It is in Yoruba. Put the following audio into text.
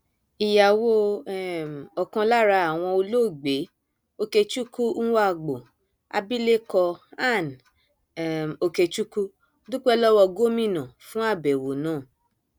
ìyàwó um ọkan lára wọn olóògbé okechukwu nwagboo abilékọ ann um okechukwu dúpẹ lọwọ gómìnà fún àbẹwò náà